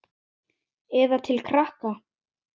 Eða til krakka?